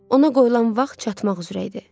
Ona qoyulan vaxt çatmaq üzrə idi.